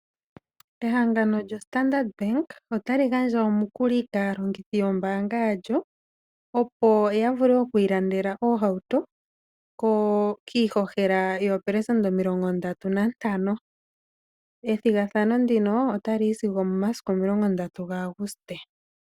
Ehangano lyoStandard bank otali gandja omukuli kaalongithi yombaanga yalyo, opo ya vule okwiilandela oohauto kiihohela yoopelesenda omi35. Ethigathano ndino otali yi sigo omi30 gaAuguste.